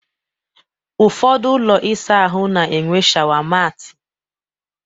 Ụfọdụ ụlọ ịsa ahụ na-enwe shawa maati